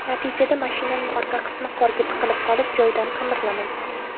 Natijada mashinaning orqa qismi qorga tiqilib qolib, joyidan qimirlamagan.